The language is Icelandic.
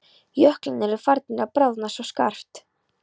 Jöklarnir eru farnir að bráðna svo skarpt.